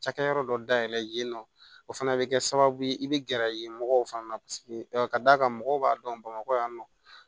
Cakɛyɔrɔ dɔ dayɛlɛ yen nɔ o fana bɛ kɛ sababu ye i bɛ gɛrɛ yen mɔgɔw fana paseke ka d'a kan mɔgɔw b'a dɔn bamakɔ yan nɔ